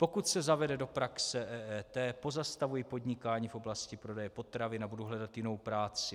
Pokud se zavede do praxe EET, pozastavuji podnikání v oblasti prodeje potravin a budu hledat jinou práci.